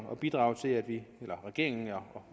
at bidrage til at regeringen